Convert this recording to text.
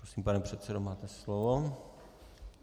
Prosím, pane předsedo, máte slovo.